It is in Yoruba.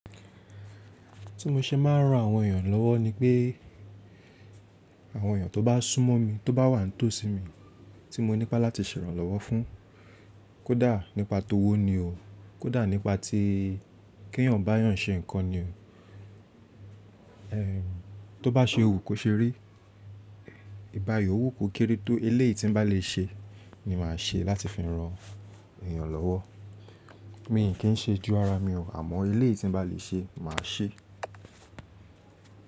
Tí mo ṣe máa ń ran àwọn èèyàn lọ́wọ́ ni pé àwọn èèyàn tó bá súnmọ́ mi, tó bá wà tó sí mi tí mo nípa láti ṣèrànlọ́wọ́ fún, kódà nípa tówó ni o, kódà nípa ti kí èèyàn bá èèyàn ṣe nǹkan ni o. Tó bá ṣe wún ko ṣe rí, ìbàyiòwú kò kéré tó eléèyí tí ń bá lè ṣe ni màá ṣe láti fi ran èèyàn lọ́wọ́. Mi kì í ṣe ju ara mi ò, àmọ́ eléèyí tí ń bá lè ṣe màá ṣe.